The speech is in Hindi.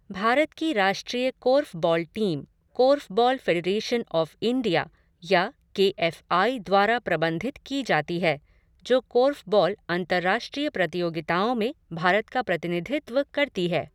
भारत की राष्ट्रीय korfball team korfball federation of India या के एफ़ आई द्वारा प्रबंधित की जाती है जो कोर्फ़बॉल अंतर्राष्ट्रीय प्रतियोगिताओं में भारत का प्रतिनिधित्व करती है।